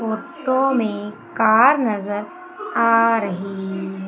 Photo में car नजर आ रही है।